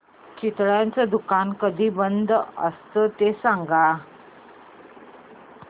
चितळेंचं दुकान कधी बंद असतं ते सांग